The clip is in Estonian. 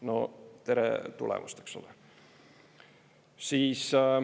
No tere tulemast, eks ole!